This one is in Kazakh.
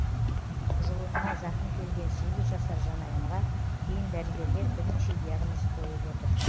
жұлынына зақым келген сегіз жасар жанайымға кейін дәрігерлер бірнеше диагноз қойып отыр